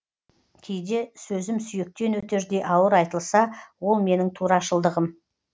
кейде сөзім сүйектен өтердей ауыр айтылса ол менің турашылдығым